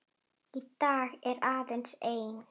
Í dag er aðeins ein.